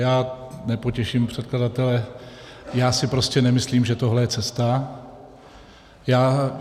Já nepotěším předkladatele, já si prostě nemyslím, že tohle je cesta.